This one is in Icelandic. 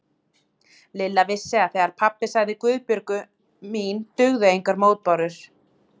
Lilla vissi að þegar pabbi sagði Guðbjörg mín dugðu engar mótbárur.